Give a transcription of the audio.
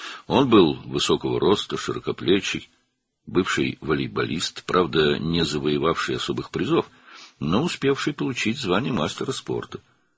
O, hündürboy, genişçiyinli, keçmiş voleybolçu idi, xüsusi mükafatlar qazanmasa da, idman ustası adını almağı bacarmışdı.